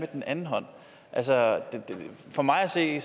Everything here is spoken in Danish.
den anden hånd altså for mig at se